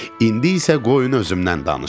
İndi isə qoyun özümdən danışım.